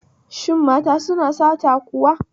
Shin mata suna sata kuwa?